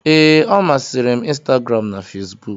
Ee, ọ masịrị m Instagram na Facebook